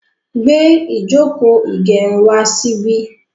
gbé Ijoko igerun wá sí bí